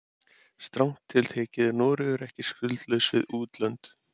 Strangt til tekið er Noregur ekki skuldlaus við útlönd.